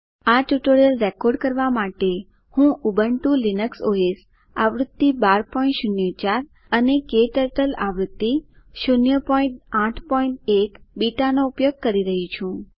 આ tutorial record કરવા માટે હું ઉબુન્ટુ લીનક્સ ઓએસ આવૃત્તિ 1204 અને ક્ટર્ટલ આવૃત્તિ 081 બીટા નો ઉપયોગ કરી રહી છું